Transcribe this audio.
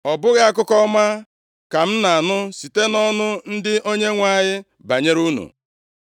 Ọ bụghị akụkọ ọma ka m na-anụ site nʼọnụ ndị Onyenwe anyị banyere unu.